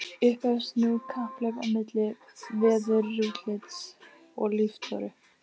Upphefst nú kapphlaup á milli veðurútlits og líftóru.